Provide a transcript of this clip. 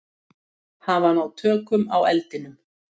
Hafa náð tökum á eldinum